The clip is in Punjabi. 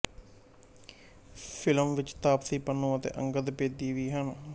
ਫਿਲਮ ਵਿੱਚ ਤਾਪਸੀ ਪੰਨੂੰ ਅਤੇ ਅੰਗਦ ਬੇਦੀ ਵੀ ਹਨ